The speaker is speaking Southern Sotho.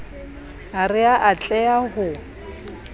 ha re a tleha ho